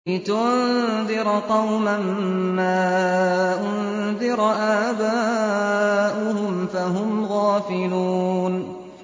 لِتُنذِرَ قَوْمًا مَّا أُنذِرَ آبَاؤُهُمْ فَهُمْ غَافِلُونَ